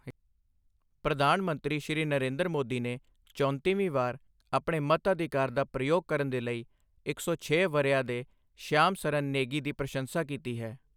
ਪ੍ਰਧਾਨ ਮੰਤਰੀ, ਸ਼੍ਰੀ ਨਰਿੰਦਰ ਮੋਦੀ ਨੇ ਚੌਂਤੀਵੀਂ ਵਾਰ ਆਪਣੇ ਮਤਅਧਿਕਾਰ ਦਾ ਪ੍ਰਯੋਗ ਕਰਨ ਦੇ ਲਈ ਇੱਕ ਸੌ ਛੇ ਵਰ੍ਹਿਆਂ ਦੇ ਸ਼ਿਆਮ ਸਰਨ ਨੇਗੀ ਦੀ ਪ੍ਰਸ਼ੰਸਾ ਕੀਤੀ ਹੈ।